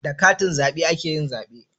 Da katin zabe ake yin zabe